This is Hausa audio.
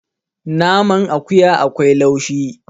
naman akuya akwai laushi